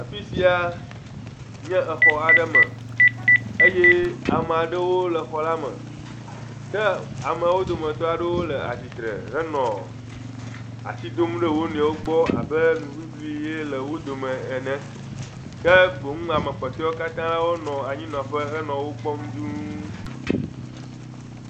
Afi sia nye xɔ aɖe me eye ame aɖewo le xɔ la me ke amewo dometɔ aɖewo nɔ atsitre henɔ asi dom ɖe wonuiwo gbɔ abe nuŋiŋlie le wo dome ene ke boŋ ame kpɔtɔe wo katã henɔ anyinɔƒe nɔ wo kpɔm duu.